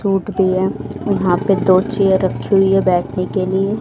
root भी है यहां पे दो चेयर रखी हुई है बैठने के लिए--